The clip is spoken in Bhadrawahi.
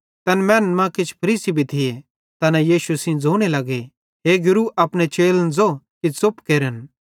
तैन मैनन् मां किछ फरीसी लोक भी थिये तैना यीशु सेइं ज़ोने लगे हे गुरू अपने चेलन ज़ो कि च़ुप केरन